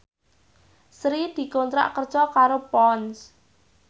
Sri dikontrak kerja karo Ponds